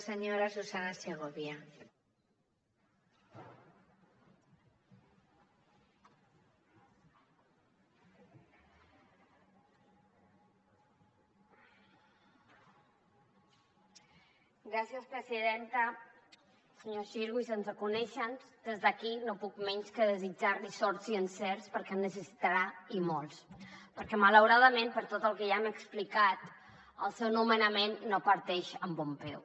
senyor xirgo i sense conèixer nos des d’aquí no puc menys que desitjar li sort i encerts perquè en necessitarà i molts perquè malauradament per tot el que ja hem explicat el seu nomenament no parteix amb bon peu